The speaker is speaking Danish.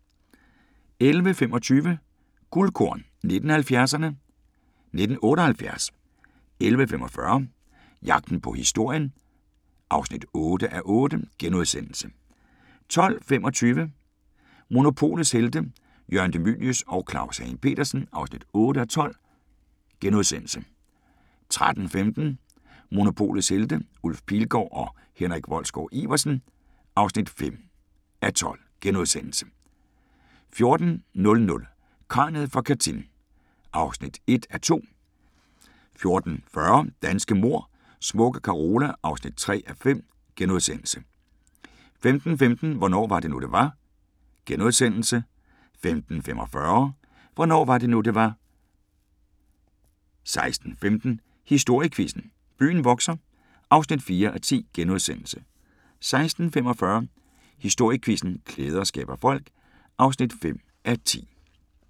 11:25: Guldkorn 1970'erne: 1978 11:45: Jagten på historien (8:8)* 12:25: Monopolets Helte – Jørgen De Mylius og Claus Hagen Petersen (8:12)* 13:15: Monopolets Helte – Ulf Pilgaard og Henrik Wolsgaard-Iversen (5:12)* 14:00: Kraniet fra Katyn (1:2) 14:40: Danske mord: Smukke Carola (3:5)* 15:15: Hvornår var det nu, det var? * 15:45: Hvornår var det nu, det var? 16:15: Historiequizzen: Byen vokser (4:10)* 16:45: Historiequizzen: Klæder skaber folk (5:10)